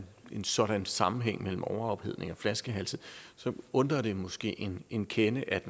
en sådan sammenhæng mellem overophedning og flaskehalse så undrer det måske en kende at